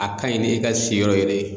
A kaɲi ni e ka siyɔrɔ yɛrɛ ye